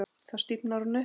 Þá stífnar hún upp.